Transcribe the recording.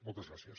moltes gràcies